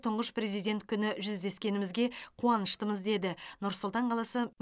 тұңғыш президент күні жүздескеңімізге қуаныштымыз деді нұр султан қаласы